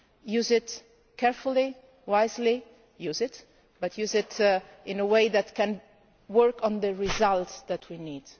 it. Use it carefully, wisely, but use it in a way that can work on the results that we